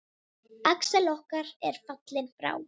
Axel okkar er fallinn frá.